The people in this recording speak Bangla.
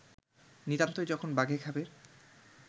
নিতান্তই যখন বাঘে খাবে